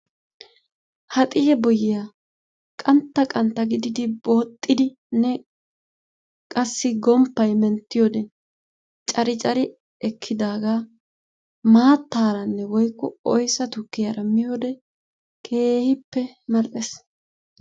Ha ciyee boyiyee qantta qantta gididi booxidinne qassi gomppay menttiyode cari cari ekkidaagee maataara woykko oyssa tukkiyara miyode keehippe mal'ees.